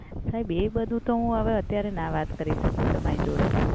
સાહેબ એ બધુ તો હું હવે અત્યારે ના વાત કરી શકું તમારી જોડે.